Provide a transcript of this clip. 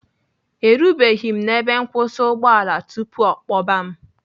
Erubeghị m ebe nkwụsị ụgbọala tupu ọ kpọba m.